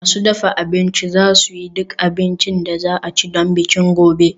Masu dafa abinci za su yi duk abincin da za a ci don bikin gobe